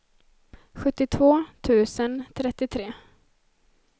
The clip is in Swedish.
sjuttiotvå tusen trettiotre